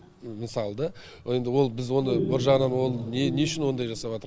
мысалы да ол енді біз оны бір жағынан оны не не үшін ондай жасапатырқ